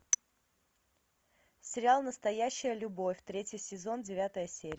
сериал настоящая любовь третий сезон девятая серия